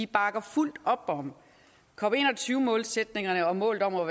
bakker fuldt op om cop21 målsætningerne og målet om at